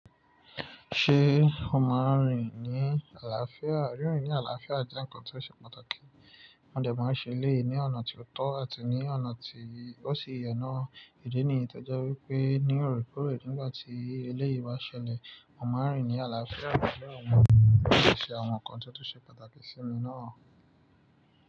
Ṣé o máa rìn ní àlàáfíà? Rírin ní àlàáfíà jẹ́ ǹkan tó ṣe pàtàkì. Mo dẹ̀ máa ń ṣe eléyìí ní ọ̀nà tí ó tọ́ àti ní ọ̀nà tí ó sì yẹ nà ìdí nìyí tó jẹ́ wípé ní orekoore nígbà tí eléyìí bá ṣẹlẹ̀, mo máa n rín ní àlàáfíà, àláfíà ọmọ náà yóò ṣe àwọn ǹkan tó bá ṣe pàtàkì sí ìmi náà.